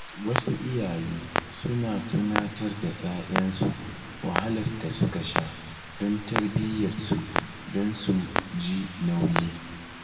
Wasu iyaye suna tunatar da ‘ya’yansu wahalar da suka sha don tarbiyyarsu don su ji nauyi.